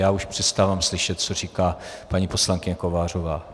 Já už přestávám slyšet, co říká paní poslankyně Kovářová.